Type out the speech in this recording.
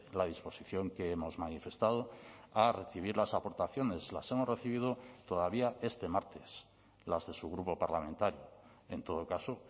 la disposición que hemos manifestado a recibir las aportaciones las hemos recibido todavía este martes las de su grupo parlamentario en todo caso